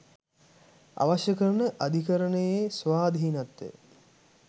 අවශ්‍ය කරන අධිකරණයේ ස්වාධීනත්වය